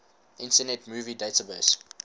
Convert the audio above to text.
internet movie database